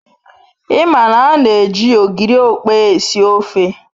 I ma na an-eji ogiri okpei esi ofe